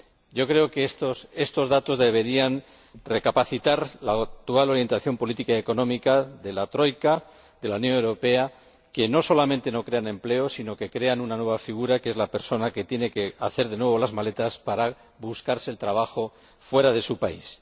Yo creo que estos datos deberían hacer recapacitar sobre la actual orientación política y económica de la troika, de la Unión Europea, que no solamente no crea empleo sino que crea una nueva figura, que es la persona que tiene que hacer de nuevo las maletas para buscarse el trabajo fuera de su país.